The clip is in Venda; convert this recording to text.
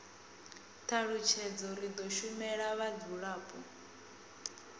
thalutshedzo ri do shumela vhadzulapo